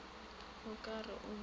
o ka re o bone